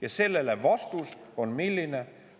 Ja vastus sellele on milline?